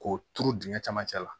K'o turu dingɛ camancɛ la